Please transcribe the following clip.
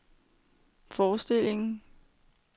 forestillingen